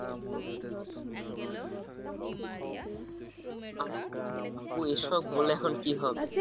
আপু এসব বলে এখন কী হবে?